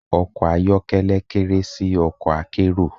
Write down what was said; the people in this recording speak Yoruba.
Ọkọ̀ ayọ́kẹ́lẹ́ kéré sí ọkọ̀ akérò.